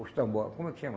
Os tambor, como é que chama?